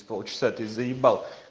полчаса ты заебал